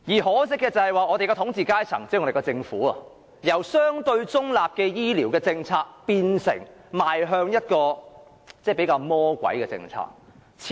可惜的是，我們的統治階層即政府，已由相對中立的醫療政策，變成採取一種比較"魔鬼"的做法。